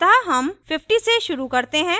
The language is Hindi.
अतः हम 50 से शुरू करते हैं